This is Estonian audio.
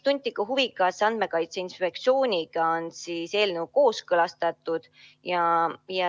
Tunti ka huvi, kas Andmekaitse Inspektsiooniga on eelnõu kooskõlastatud.